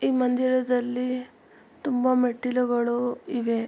ಈ ಮಂದಿರದಲ್ಲಿ ತುಂಬಾ ಮೆಟ್ಟಿಲುಗಳು ಇವೆ.